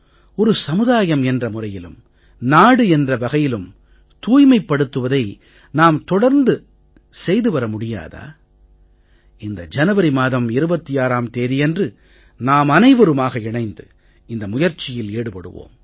ஒரு சமுதாயம் என்ற முறையிலும் நாடு என்ற வகையிலும் தூய்மைப்படுத்துவதை நாம் தொடர்ந்து செய்து வர முடியாதா இந்த ஜனவரி மாதம் 26ம் தேதியன்று நாமனைவருமாக இணைந்து இந்த முயற்சியில் ஈடுபடுவோம்